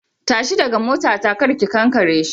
Tashi daga motata kar ki kankare shi.